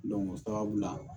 o sababu la